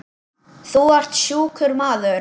Þú ert sjúkur maður.